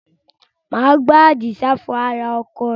Máa bá Adisa fọ ara ọkọ̀ rẹ̀